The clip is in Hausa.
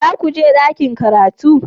Za ku je ɗakin karatu?